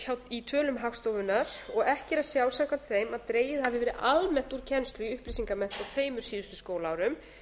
í tölum hagstofunnar og ekki er að sjá samkvæmt þeim að dregið hafi verið almennt úr kennslu í upplýsingamennt á tveimur síðustu skólaárum